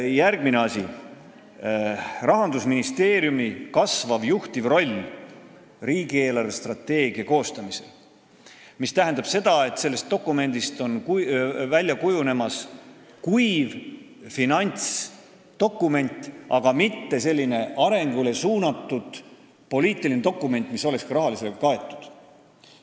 Järgmine asi on Rahandusministeeriumi kasvav juhtiv roll riigi eelarvestrateegia koostamisel, mis tähendab seda, et sellest dokumendist on kujunemas kuiv finantsdokument, aga mitte arengule suunatud poliitiline dokument, mis on ka rahaliselt kaetud.